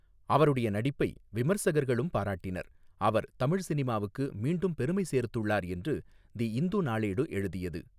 அவருடைய நடிப்பை விமர்சகர்களும் பாராட்டினர், அவர் 'தமிழ் சினிமாவுக்கு மீண்டும் பெருமை சேர்த்துள்ளார்' என்று தி இந்து நாளேடு எழுதியது.